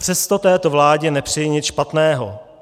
Přesto této vládě nepřeji nic špatného.